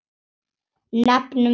Nefnum dæmi.